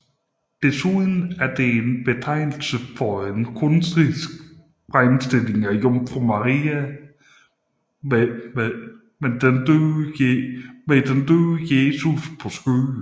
Desuden er det en betegnelse for en kunstnerisk fremstilling af jomfru Maria med den døde Jesus på skødet